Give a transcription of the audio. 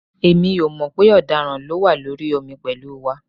Èmi ò mọ̀ pé ọ̀daràn ló wà lórí omi pẹ̀lú wa